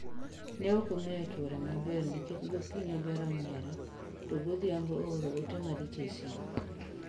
Ne okong'eyo chwore maber nikech gokinyi ober onyiero to godhiambo ooro ote maricho e simu